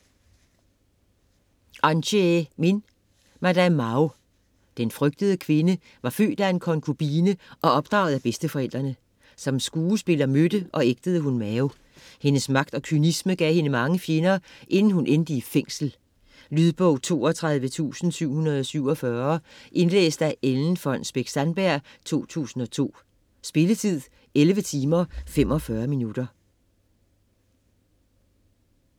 Min, Anchee: Madame Mao Den frygtede kvinde var født af en konkubine og opdraget af bedsteforældrene. Som skuespiller mødte og ægtede hun Mao. Hendes magt og kynisme gav hende mange fjender, inden hun endte i fængsel. Lydbog 32747 Indlæst af Ellen Fonnesbech-Sandberg, 2002. Spilletid: 11 timer, 45 minutter.